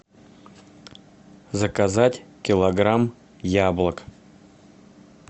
заказать килограмм яблок